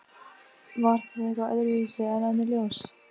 Var það þá eitthvað öðruvísi en önnur ljós?